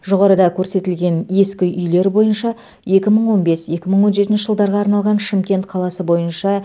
жоғарыда көрсетілген ескі үйлер бойынша екі мың он бес екі мың он жетінші жылдарға арналған шымкент қаласы бойынша